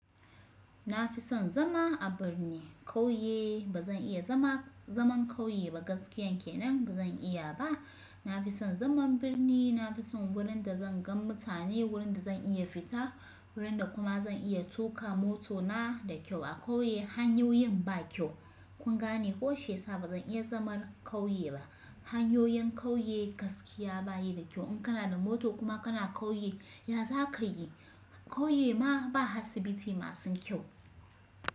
Na fi son zama a birni. Kauye ba zan iya zaman kauye ba gaskiyan kenan ba zan iya ba. Na fi son zaman birni, na fi son wurin da zan gan mutane, wurin da zan iya fita, wurin da kuma zan iya tuka motona da kyau. A kauye hanyoyin ba kyau. Kun gane ƙo shiya sa ba zan iya zaman kauye ba. Hanyoyin kauye gaskiya bayi da kyau in kana da mota kuma kana kauye ya za ka yi? Kauye ma ba asibiti masu kyau.